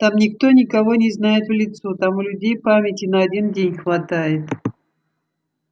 там никто никого не знает в лицо там у людей памяти на один день хватает